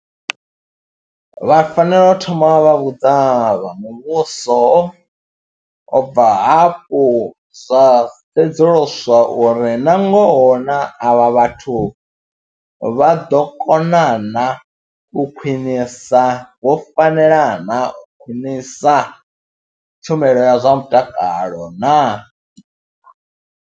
Vha fanela u thoma vha vha vhudza vha muvhuso, u bva hafho zwa sedzuluswa uri na ngoho na avha vhathu vha ḓo kona na u khwinisa, vho fanela na u khwinisa tshumelo ya zwa mutakalo na.